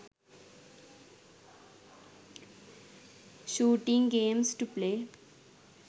shooting games to play